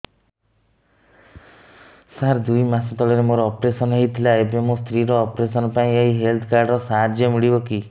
ସାର ଦୁଇ ମାସ ତଳରେ ମୋର ଅପେରସନ ହୈ ଥିଲା ଏବେ ମୋ ସ୍ତ୍ରୀ ର ଅପେରସନ ପାଇଁ ଏହି ହେଲ୍ଥ କାର୍ଡ ର ସାହାଯ୍ୟ ମିଳିବ କି